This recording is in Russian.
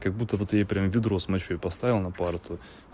как будто вот я прям ведро с мочёй поставил на парту